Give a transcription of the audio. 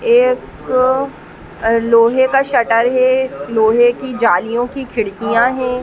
एक लोहे का शटर हे। लोहे की जालियों की खिड़कियां है।